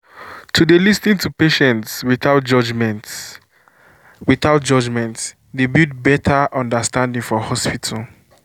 to dey lis ten to patients without judgment without judgment dey build better understanding for hospitals.